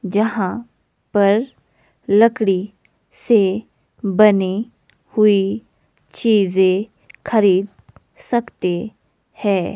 जहां पर लकड़ी से बने हुई चीज़ें खरीद सकते है।